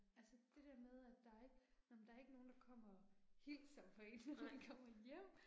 Altså det der med at der er ikke, nåh men der ikke nogen der kommer og hilser på én når man kommer hjem